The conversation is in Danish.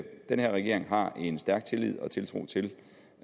den her regering har en stærk tillid og tiltro til